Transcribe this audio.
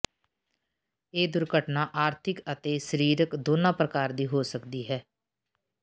ਇਹ ਦੁਰਘਟਨਾ ਆਰਥਕ ਅਤੇ ਸਰੀਰਕ ਦੋਨਾਂ ਪ੍ਰਕਾਰ ਦੀ ਹੋ ਸਕਦੀ ਹੈ